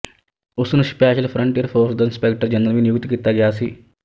ਉਸਨੂੰ special frontier force ਦਾ inspector general ਵੀ ਨਿਯੁਕਤ ਕੀਤਾ ਗਿਆ ਸੀ